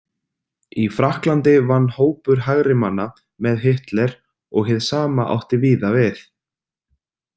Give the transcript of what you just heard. Í Frakklandi vann hópur hægrimanna með Hitler og hið sama átti víða við.